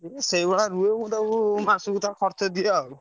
ସେଇଭଳିଆ ରୁହେ ମୁଁ ତାକୁ ମାସୁକୁ ତା ଖର୍ଚ ଦିଏ ଆଉ।